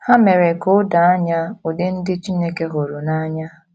Ha mere ka o doo anya ụdị ndị Chineke hụrụ n’anya.